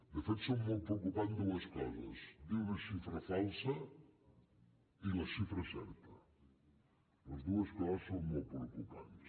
de fet són molt preocupants dues coses dir una xifra falsa i la xifra certa les dues coses són molt preocupants